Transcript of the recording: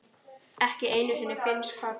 ekki einu sinni finnsk horn.